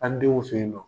An denw fe yen nɔ